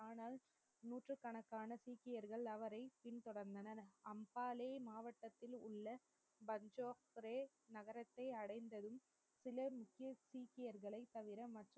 ஆனால் நூற்றுக்கணக்கான சீக்கியர்கள் அவரை பின்தொடர்ந்தனர், அம்ஹாளே மாவட்டத்தில் உள்ள பஞ்ச்சோக்ரே நகரத்தை அடைந்ததும் சிலர் முக்கிய சீக்கியர்களை தவிர மற்